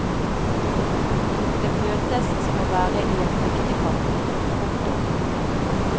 Det føltes som å være i en fektekamp. punktum